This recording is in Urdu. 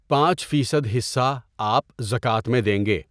پانچ فیصد حصّہ آ پ زکوٰۃ میں دیں گے.